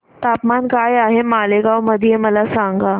तापमान काय आहे मालेगाव मध्ये मला सांगा